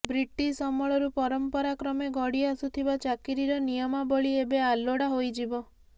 British ଅମଳରୁ ପରମ୍ପରା କ୍ରମେ ଗଡି ଆସୁଥିବା ଚାକିରୀର ନିୟମାବଳୀ ଏବେ ଆଲୋଡା ହୋଇଯିବ